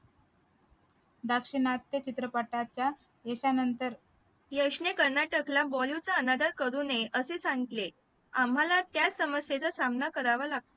दक्षिणातचे चित्रपटाच्या एका नंतर यशने कर्नाटकला bollywood चा अनादर करू नये असे सांगितले आम्हाला त्या समस्येचा सामना करावा लागतो